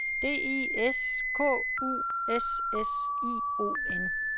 D I S K U S S I O N